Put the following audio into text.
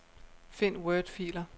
Find wordfiler.